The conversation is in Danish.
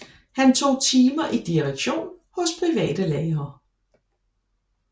Han tog timer i direktion hos private lærere